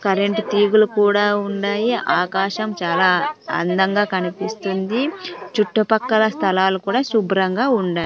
current తీగులు కూడా ఉండాయి ఆకాశం చాలా అందంగా కనిపిస్తుంది చుట్టుపక్కల స్థలాలు కూడా శుభ్రంగా ఉడా--